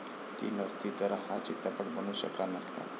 ती नसती तर हा चित्रपट बनूच शकला नसता.